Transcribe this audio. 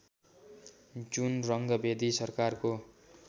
जुन रङ्गभेदी सरकारको